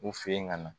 U fen yen ka na